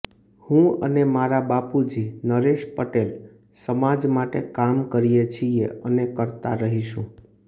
હું અને મારા બાપુજી નરેશ પટેલ સમાજ માટે કામ કરીએ છીએ અને કરતા રહીશું